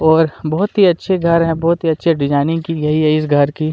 और बहुत ही अच्छे घर हैं बहुत ही अच्छे डिजाइनिंग की गयी है इस घर की--